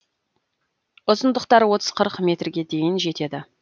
ұзындықтары отыз қырық метрге дейін жетеді